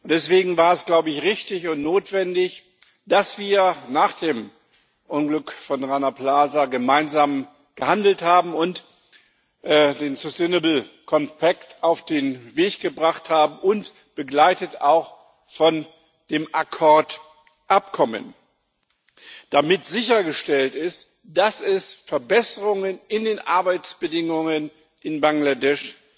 Deswegen war es richtig und notwendig, dass wir nach dem Unglück von Rana Plaza gemeinsam gehandelt haben und den auf den Weg gebracht haben, begleitet auch von dem Accord Abkommen, damit sichergestellt ist, dass es Verbesserungen in den Arbeitsbedingungen in Bangladesch